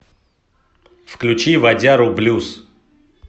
включи вадяру блюз